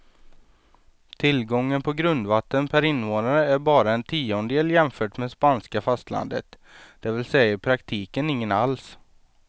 Tillgången på grundvatten per invånare är bara en tiondel jämfört med spanska fastlandet, det vill säga i praktiken ingen alls.